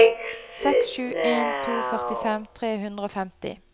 seks sju en to førtifem tre hundre og femti